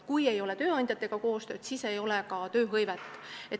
Kui ei ole tööandjatega koostööd, siis ei ole ka tööhõivet.